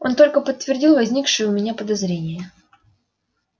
он только подтвердил возникшее у меня подозрение